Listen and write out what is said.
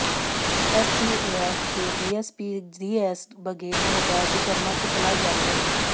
STF के DSP DS Baghel ने बताया कि शर्मा की तलाश जारी है